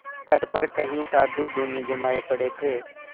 तट पर कई साधु धूनी जमाये पड़े थे